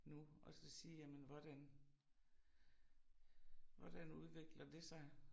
Nu og så sige jamen hvordan hvordan udvikler det sig